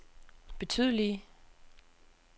betydelige